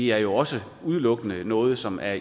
er jo også udelukkende noget som er